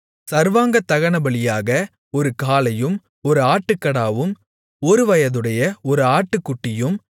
சர்வாங்கதகனபலியாக ஒரு காளையும் ஒரு ஆட்டுக்கடாவும் ஒருவயதுடைய ஒரு ஆட்டுக்குட்டியும்